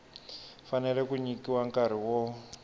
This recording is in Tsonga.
fanele ku nyikiwa nkarhi wo